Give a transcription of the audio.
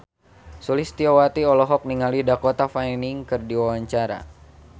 Sulistyowati olohok ningali Dakota Fanning keur diwawancara